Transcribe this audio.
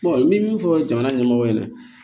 n bɛ min fɔ jamana ɲɛmɔgɔw ɲɛna